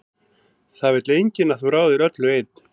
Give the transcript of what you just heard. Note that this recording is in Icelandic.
Það vill enginn að þú ráðir öllu einn.